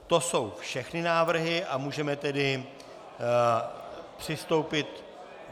To jsou všechny návrhy a můžeme tedy přistoupit...